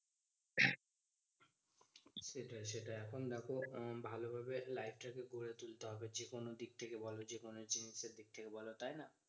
সেটাই সেটাই এখন দেখো আহ ভালোভাবে life টা কে গরে তুলতে হবে, যেকোনো দিক থেকে বোলো। যেকোনো জিনিসের দিক থেকে বোলো, তাইনা?